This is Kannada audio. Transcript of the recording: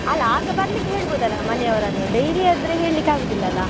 ಅಲ್ಲಾ ಆಗ ಬರ್ಲಿಕ್ಕೆ ಹೇಳ್ಬೋದ್ ಅಲ್ಲ ಮನೆಯವರನ್ನು daily ಆದ್ರೆ ಹೇಳಿಕ್ಕೆ ಆಗುದಿಲ್ಲಲ್ಲಾ.